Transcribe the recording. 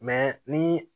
ni